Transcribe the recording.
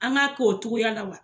An k'a k'o cogoya la wa.